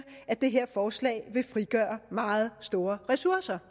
at det her forslag ville frigøre meget store ressourcer